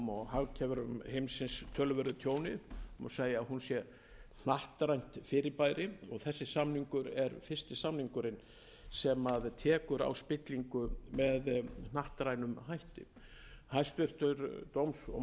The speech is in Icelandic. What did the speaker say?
hagkerfum heimsins töluverðu tjóni má segja að hún sé hnattrænt fyrirbæri og þessi samningur er fyrsti samningurinn sem tekur á spillingu með hnattrænum hætti hæstvirts dóms og